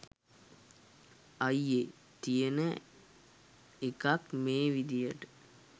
අයියෙ. තියෙන එකක් මේ විදියට